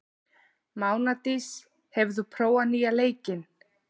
Mánadís, hefur þú prófað nýja leikinn?